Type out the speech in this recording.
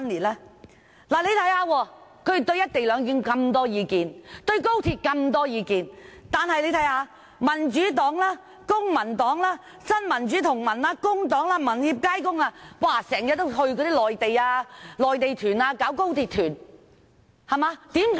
他們對"一地兩檢"和高鐵有那麼多意見，但民主黨、公民黨、新民主同盟、工黨、民協、街工，卻經常組織高鐵團前往內地。